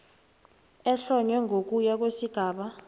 ehlonywe ngokuya kwesigaba